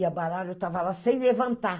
E o baralho estava lá sem levantar.